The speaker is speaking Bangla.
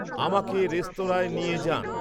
আমাকে রেস্তরাঁঁয় নিয়ে যান